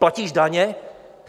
Platíš daně?